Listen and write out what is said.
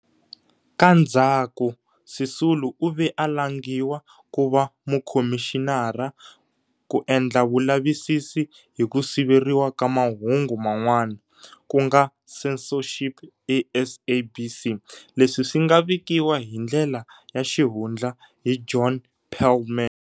Ka ndzhaku Sisulu u ve a langiwa ku va mukhomixinara ku endla vulavisisi hi ku siveriwa ka mahungu man'wana, ku nga censorship eSABC, leswi swi nga vikiwa hi ndlela ya xihundla hi John Perlman.